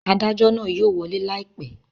Adajọ naa yóò wọle laipẹ